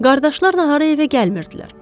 Qardaşlar nahara evə gəlmirdilər.